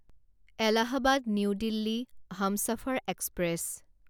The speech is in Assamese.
Allahabad New Delhi Humsafar express